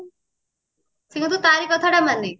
ସେ କିନ୍ତୁ ତାରି କଥାଟା ମାନେ